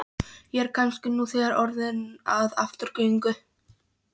Ég er kannski nú þegar orðinn að afturgöngu.